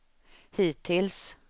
hittills